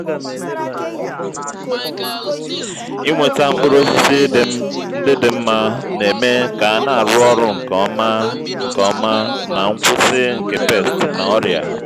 ịnweta mkpụrụ osisi ndị dị mma na-eme ka a na-arụ ọrụ nke ọma nke ọma na nkwụsị nke pests na ọrịa.